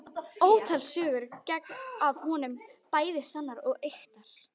Ótal sögur gengu af honum, bæði sannar og ýktar.